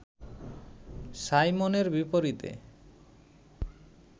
সাইমনের বিপরীতে